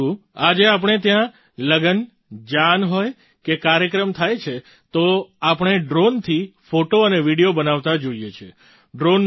પરંતુ આજે આપણે ત્યાં કોઈ લગ્ન જાન હોય કે કાર્યક્રમ થાય છે તો આપણે ડ્રૉનથી ફૉટો અને વિડિયો બનાવતા જોઈએ છીએ